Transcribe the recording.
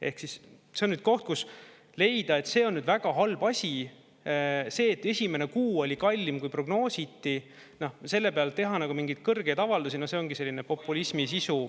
Ehk siis see on nüüd koht, kus leida, et see on nüüd väga halb asi, see, et esimene kuu oli kallim, kui prognoositi, selle pealt teha mingeid kõrgeid avaldusi, no see ongi selline populismi sisu …